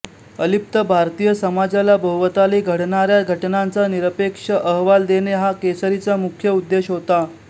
अलिप्त भारतीय समाजाला भोवताली घडणाऱ्या घटनांचा निरपेक्ष अहवाल देणे हा केसरीचा मुख्य उद्देश होता